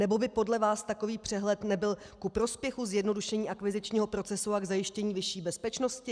Nebo by podle vás takový přehled nebyl ku prospěchu zjednodušení akvizičního procesu a k zajištění vyšší bezpečnosti?